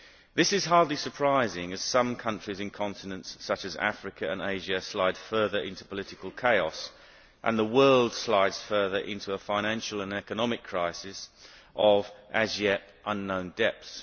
This is hardly surprising, as some countries in continents such as Africa and Asia slide further into political chaos and the world slips further into a financial and economic crisis of as yet unknown depths.